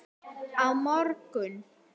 Á morgun